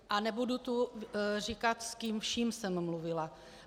A nebudu tu říkat, s kým vším jsem mluvila.